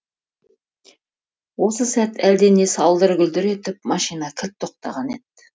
осы сәт әлдене салдыр гүлдір етіп машина кілт тоқтаған еді